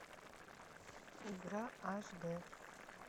игра аш дэ